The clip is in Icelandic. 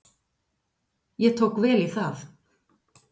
Ég tók vel í það.